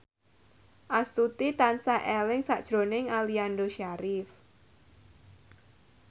Astuti tansah eling sakjroning Aliando Syarif